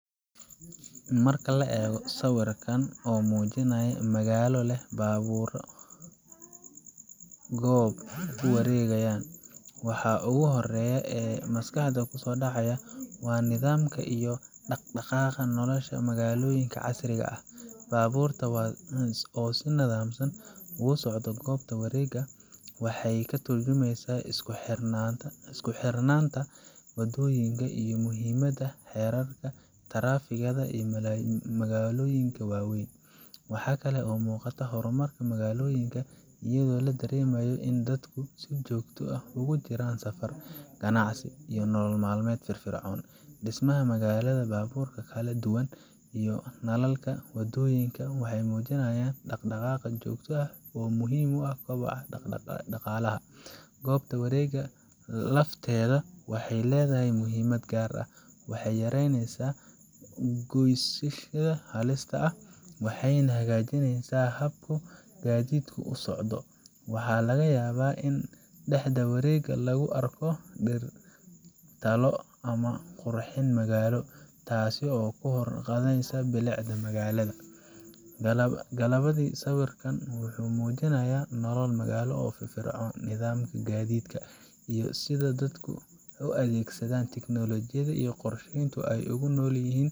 Marka la eego sawirkan oo muujinaya magaalo leh baabuuro ku wareegaya goob wareeg, waxa ugu horreeya ee maskaxda ku soo dhacaya waa nidaamka iyo dhaqdhaqaaqa nolosha magaalooyinka casriga ah. Baabuurta oo si nidaamsan ugu socda goobta wareegga waxay ka tarjumaysaa isku xirnaanta waddooyinka iyo muhiimadda xeerarka taraafikada ee magaalooyinka waaweyn. Waxaa kale oo muuqata horumarka magaalooyinka, iyadoo la dareemayo in dadku si joogto ah ugu jiraan safar, ganacsi, iyo nolol maalmeed firfircoon. Dhismaha magaalada, baabuurta kala duwan, iyo nalalka waddooyinka waxay muujinayaan dhaqdhaqaaq joogto ah oo muhim u ah koboca dhaqaalaha. Goobta wareegga lafteeda waxay leedahay muhiimad gaar ah waxay yareysaa is goysyada halista ah, waxayna hagaajisaa habka gaadiidku u socdo. Waxaa laga yaabaa in dhexda wareegga lagu arko dhir, taallo, ama qurxin magaalo, taas oo kor u qaadaysa bilicda magaalada. Gabagabadii, sawirkan wuxuu muujinayaa nolol magaalo oo firfircoon, nidaamka gaadiidka, iyo sida dadku u adeegsadaan tiknoolajiyada iyo qorsheynta si ay ugu noolyihin.